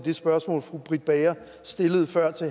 fru britt bager